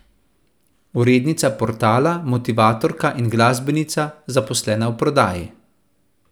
Urednica portala, motivatorka in glasbenica, zaposlena v prodaji.